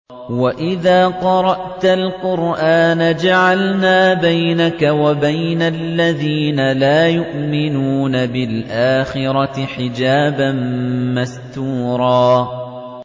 وَإِذَا قَرَأْتَ الْقُرْآنَ جَعَلْنَا بَيْنَكَ وَبَيْنَ الَّذِينَ لَا يُؤْمِنُونَ بِالْآخِرَةِ حِجَابًا مَّسْتُورًا